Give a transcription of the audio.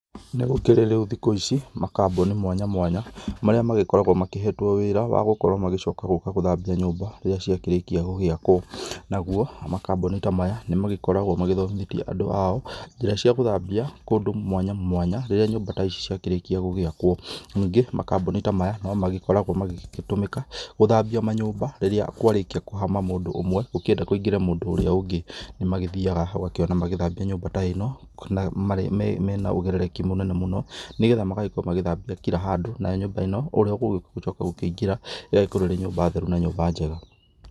Nĩ gũkĩrĩ rĩu thikũ ici makambuni mwanya mwanya marĩa magĩkoragwo makĩhetwo wĩra wa gũkorwo magĩcoka gũka gũthambia nyũmba rĩrĩa ciakĩrĩkia gũgĩakwo, naguo makamboni ta maya nĩ magĩkoragwo magĩthomithĩtie andũ ao njĩra cia gũthambia kũndũ mwanya mwanya rĩrĩa nyũmba ta ici ciakĩrĩkia gũgĩakwo. Ningĩ makambũni ta maya nĩ magĩkoragwo magĩtũmĩka gũthambia manyũmba rĩrĩa kwarĩkia kũhama mũndũ ũmwe gũkĩenda kũingĩre mũndũ ũrĩa ũngĩ. Nĩ magĩthiaga ũgakĩona magĩthambia nyũmba ta ĩno mena ũigĩrĩrĩki mũnene mũno nĩgetha magagĩkorwo magĩthambia kira handũ na nĩ getha nyũmba ĩno ũrĩa ũgũgĩcoka gũkĩingĩra ĩgagĩkorwo ĩrĩ nyũmba theru na nyũmba njega.